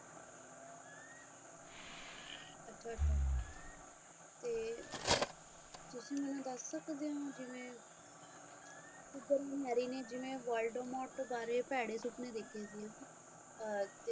ਤੇ ਤੁਸੀਂ ਮੈਨੂੰ ਦੱਸ ਸਕਦੇ ਹੋ ਜਿਵੇਂ marry ਨੇ ਜਿਵੇਂ woldmort ਬਾਰੇ ਜਿਵੇਂ ਭੈੜੇ ਸੁਪਨੇ ਦੇਖੇ ਸੀ ਅਰ